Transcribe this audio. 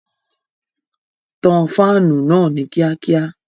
Tan fáànù náà ní kíákíá!